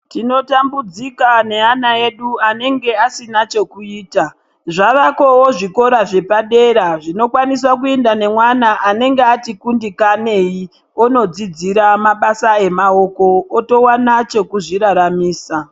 Tinotambidzika neana edu anenge asina chekuita zvavako zvikora zvepadera zvinokwanisa kuenda nemwana anenge ati kundikanei onodzidzira mabasa emaoko otowana chekudziraramisa .